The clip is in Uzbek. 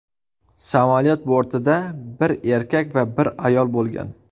Samolyot bortida bir erkak va bir ayol bo‘lgan.